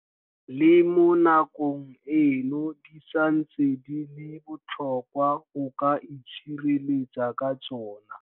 Le mo nakong eno di santse di le botlhokwa go ka itshireletsa ka tsona.